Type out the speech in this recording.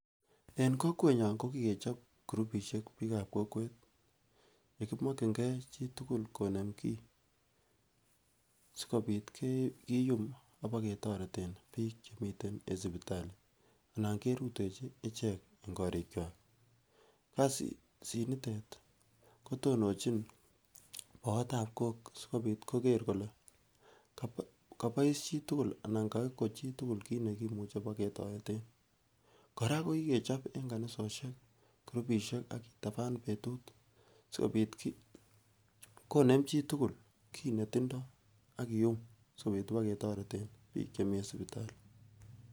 En kokwenyon kokikechop kurubishek bik ab kokwet yekimokin gee chitukul konem kii sikobit kiyum oboketoreten bik chemiten en sipitali anankerutechi ichek en korikwak, kasit nitet kotononchin boot ab kok sikopit kokere kole kobois chitukul anan koko chitukul kit ne kimuche bo ketoreten. Koraa ko kikechop en kanisosiek kurubishek ak kitaban betut sikobit konem chitukul kit netindp ak kiyum sikobit kibo ketoreten bik chemii en sipitali.